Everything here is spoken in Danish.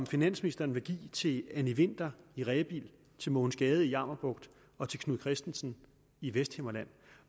finansministeren vil give til anny winther i rebild til mogens gade i jammerbugt og til knud kristensen i vesthimmerland